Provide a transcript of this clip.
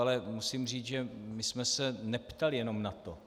Ale musím říct, že my jsme se neptali jenom na to.